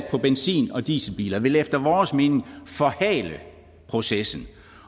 på benzin og dieselbiler vil efter vores mening forhale processen